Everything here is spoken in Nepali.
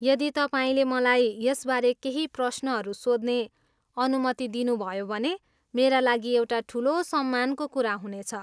यदि तपाईँले मलाई यसबारे केही प्रश्नहरू सोध्ने अनुमति दिनुभयो भने मेरा लागि एउटा ठुलो सम्मानको कुरा हुनेछ।